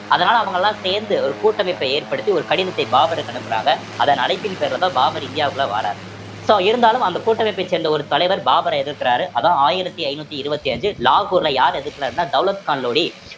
அதனால அவங்கெல்லாம் சேர்ந்து ஒரு கூட்டமைப்பை ஏற்படுத்தி ஒரு கடிதத்தை பாபருக்கு அனுப்புறாங்க அதன் அழைப்பின் பேரிலதான் பாபர் இந்தியாவுக்குள்ள வாராரு so இருந்தாலும் அந்த கூட்டமைப்பை சேர்ந்த ஒரு தலைவர் பாபரை எதிர்க்கிறாரு அதான் ஆயிரத்தி ஐந்நூத்தி இருபத்தி அஞ்சு லாகூர்ல யார் எதிர்க்கிறாருன்னா தௌலத் கான் லோடி